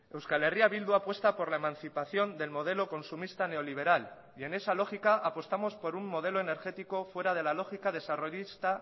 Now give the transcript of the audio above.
euskal herria bildu apuesta por la emancipación del modelo consumista neoliberal y en esa lógica apostamos por un modelo energético fuera de la lógica desarrollista